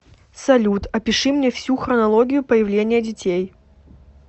салют опиши мне всю хронологию появления детей